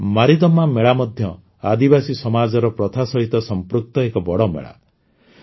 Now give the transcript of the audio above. ଆନ୍ଧ୍ରପ୍ରଦେଶରେ ମାରିଦମ୍ମା ମେଳା ମଧ୍ୟ ଆଦିବାସୀ ସମାଜର ପ୍ରଥା ସହିତ ସଂପୃକ୍ତ ଏକ ବଡ଼ ମେଳା